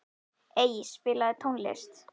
Ey, spilaðu tónlist.